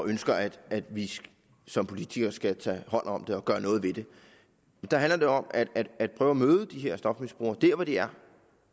ønsker at vi som politikere skal tage hånd om det og gøre noget ved det der handler det om at prøve at møde de her stofmisbrugere der hvor de er